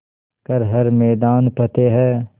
कर हर मैदान फ़तेह